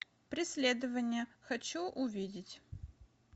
преследование хочу увидеть